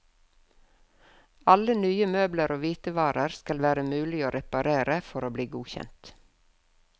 Alle nye møbler og hvitevarer skal være mulig å reparere for å bli godkjent.